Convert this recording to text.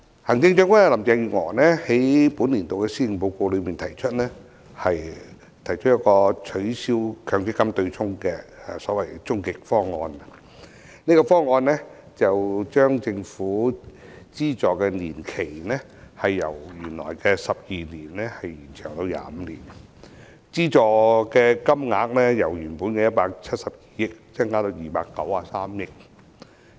行政長官林鄭月娥在本年度的施政報告提出取消強積金對沖的所謂終極方案，這個方案將政府的資助年期由原來的12年延長至25年，資助金額由原本的172億元增加至293億元。